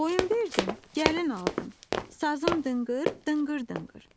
Qoyun verdim, gəlin aldım, sazım dınqır, dınqır dınqır.